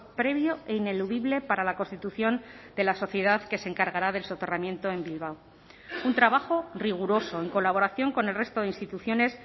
previo e ineludible para la constitución de la sociedad que se encargará del soterramiento en bilbao un trabajo riguroso en colaboración con el resto de instituciones